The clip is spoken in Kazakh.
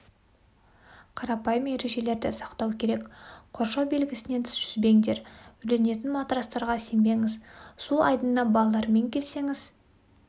қарапайым ережелерді сақтау керек қоршау белгісінен тыс жүзбеңдер үрленетін матрастарға сенбеңіз су айдынана балалармен келсеңіз